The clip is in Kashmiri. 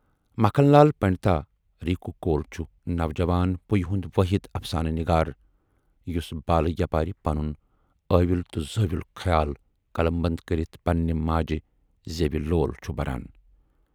مکھن لال پنڈتا رِنکو کول چھُ نوجوان پُیہِ ہُند وٲحِد افسانہٕ نِگار یُس بالہٕ یپارِ پنُن ٲویُل تہٕ زٲویُل خیال قلمبند کٔرِتھ پننہِ ماجہِ زیوِ لول چھُ بَران۔